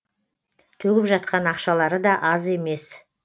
төгіп жатқан ақшалары да аз емес